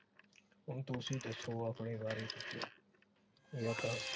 ਹੁਣ ਤੁਸੀ ਦੱਸੋ ਆਪਣੇ ਬਾਰੇ ਕੁਝ